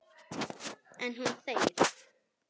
En hún þegir.